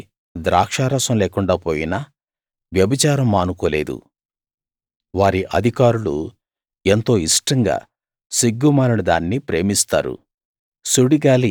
వారికి ద్రాక్షారసం లేకుండా పోయినా వ్యభిచారం మానుకోలేదు వారి అధికారులు ఎంతో ఇష్టంగా సిగ్గుమాలిన దాన్ని ప్రేమిస్తారు